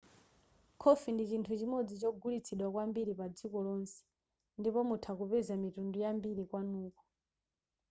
khofi ndi chinthu chimodzi chogulitsidwa kwambiri padziko lonse ndipo mutha kupeza mitundu yambiri kwanuko